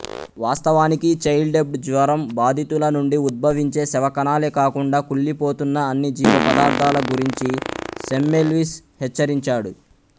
వాస్తవానికి చైల్డ్బెడ్ జ్వరం బాధితుల నుండి ఉద్భవించే శవ కణాలే కాకుండా కుళ్ళిపోతున్న అన్ని జీవపదార్థాల గురించి సెమ్మెల్విస్ హెచ్చరించాడు